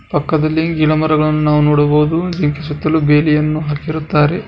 ಪಕ್ಕದಲ್ಲಿ ಗಿಡಮರಗಳನ್ನು ನಾವು ನೋಡಬಹುದು ಈ ಸುತ್ತಲು ಬೆಡಿಯನ್ನು ಹಾಕಿರುತ್ತಾರೆ.